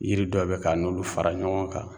Yiri dɔ bɛ k'an'olu fara ɲɔgɔn kan